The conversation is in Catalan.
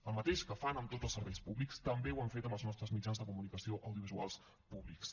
el mateix que fan amb tots els serveis públics també ho han fet amb els nostres mitjans de comunicació audiovisual públics